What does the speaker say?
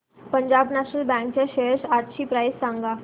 Punjab national bank च्या shares आजची price सांगा